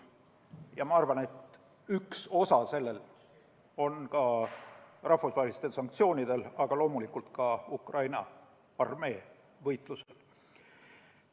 Ja ma arvan, et oma osa selles oli ka rahvusvahelistel sanktsioonidel, aga loomulikult ka Ukraina armee võitlusel.